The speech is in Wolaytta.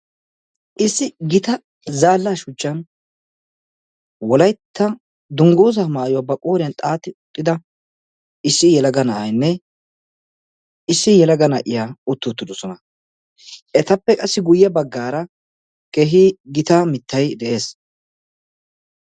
issi gita zaallaa shuchchan wolaytta dungguzaa maayuwaa ba qooriyan xaaxi uttida issi yalaga na7aainne issi yalaga na7iyaa utti uttidosona. etappe qassi guyye baggaara keehi gita mittay de7ees.